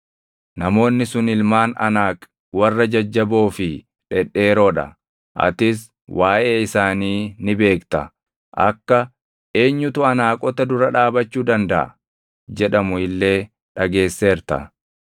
Namoonni sun ilmaan Anaaq warra jajjaboo fi dhedheeroo dha! Atis waaʼee isaanii ni beekta; akka, “Eenyutu Anaaqota dura dhaabachuu dandaʼa?” jedhamu illee dhageesseerta.